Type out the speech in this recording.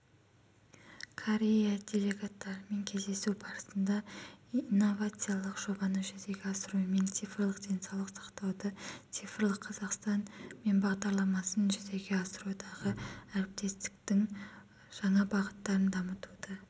корея делегаттарымен кездесу барысында инновациялық жобаны жүзеге асырумен цифрлық денсаулық сақтауды цифрлық қазақстан мембағдарламасын жүзеге асырудағы әріптестіктің жаңа бағыттарын дамытуды